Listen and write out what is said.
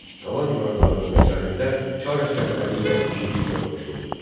Qala divarlarının üzərində çar əsgərləri ilə igidliklə vuruşurdu.